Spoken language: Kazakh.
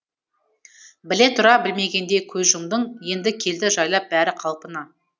біле тұра білмегендей көз жұмдың енді келді жайлап бәрі қалпына